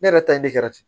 Ne yɛrɛ ta ye ne kɛra ten